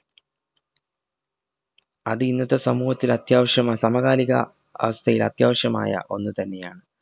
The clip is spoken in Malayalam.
അത് ഇന്നത്തെ സമൂഹത്തിൽ അത്യാവിശ്യമാ സമകാലിക അവസ്ഥയിൽ അത്യാവശ്യമായാ ഒന്ന് തന്നെയാണ്